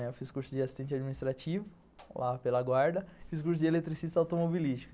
Eu fiz curso de assistente administrativo, lá pela guarda, fiz curso de eletricista automobilístico.